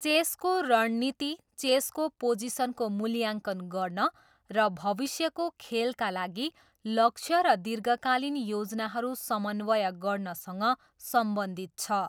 चेसको रणनीति चेसको पोजिसनको मूल्याङ्कन गर्न र भविष्यको खेलका लागि लक्ष्य र दीर्घकालीन योजनाहरू समन्वय गर्नसँग सम्बन्धित छ।